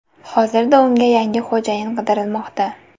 Hozirda unga yangi xo‘jayin qidirilmoqda.